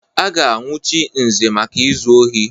A ga-anwụchi Nze maka izu ohi.